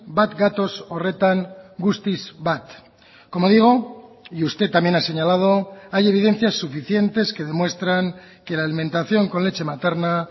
bat gatoz horretan guztiz bat como digo y usted también ha señalado hay evidencias suficientes que demuestran que la alimentación con leche materna